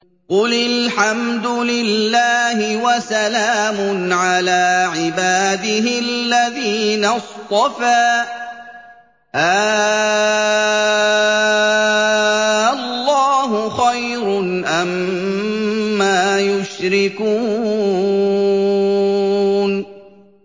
قُلِ الْحَمْدُ لِلَّهِ وَسَلَامٌ عَلَىٰ عِبَادِهِ الَّذِينَ اصْطَفَىٰ ۗ آللَّهُ خَيْرٌ أَمَّا يُشْرِكُونَ